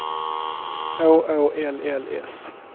H Å L L S